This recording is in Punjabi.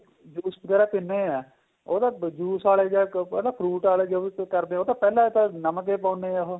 juice ਵਗੈਰਾ ਪਿੰਦੇ ਹਾਂ ਉਹ ਤਾਂ juice ਆਲੇ ਜਾਂ fruit ਆਲੇ ਜੋ ਵੀ ਕਰਦੇ ਏ ਉਹ ਤਾਂ ਪਹਿਲੇ ਤਾਂ ਨਮਕ ਏ ਪਾਉਦੇ ਏ ਉਹ